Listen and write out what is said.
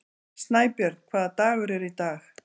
Snæbjörn, hvaða dagur er í dag?